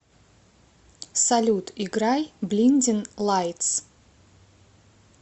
салют играй блиндин лайтс